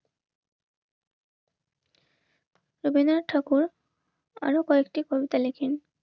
রবীন্দ্রনাথ ঠাকুর আরো কয়েকটি কবিতা লেখেন.